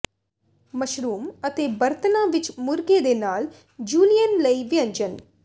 mushrooms ਅਤੇ ਬਰਤਨਾ ਵਿਚ ਮੁਰਗੇ ਦੇ ਨਾਲ ਜੂਲੀਏਨ ਲਈ ਵਿਅੰਜਨ